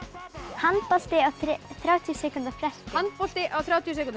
handbolti á þrjátíu sekúndna fresti handbolti á þrjátíu sekúndna